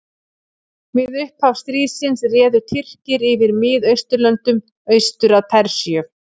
við upphaf stríðsins réðu tyrkir yfir miðausturlöndum austur að persíu